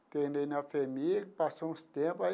Internei na FHEMIG, passou uns tempo aí.